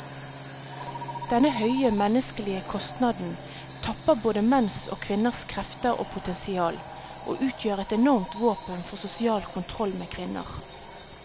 Denne høye menneskelige kostnaden tapper både menns og kvinners krefter og potensial, og utgjør et enormt våpen for sosial kontroll med kvinner.